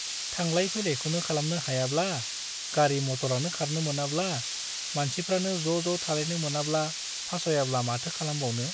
थांलाय फैलायखौनो खालामनो हायाब्ला , गारि - मटरानो खारनो मोनाब्ला , मानसिफ्रानो ज'ज' थालायनो मोनाब्ला फासयाब्ला माथो खालामबावनो ।